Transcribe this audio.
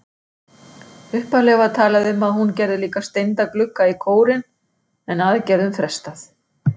Upphaflega var talað um að hún gerði líka steinda glugga í kórinn en aðgerðum frestað.